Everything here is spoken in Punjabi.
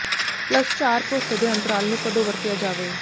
ਪਲੱਸ ਚਾਰ ਭਰੋਸੇ ਦੇ ਅੰਤਰਾਲ ਨੂੰ ਕਦੋਂ ਵਰਤਿਆ ਜਾਵੇ